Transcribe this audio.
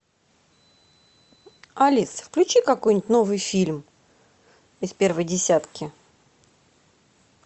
алис включи какой нибудь новый фильм из первой десятки